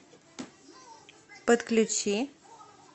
подключи